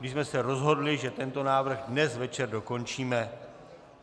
My jsme se rozhodli, že tento návrh dnes večer dokončíme.